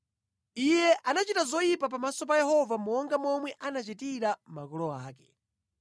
Iye anachita zoyipa pamaso pa Yehova monga momwe anachitira makolo ake.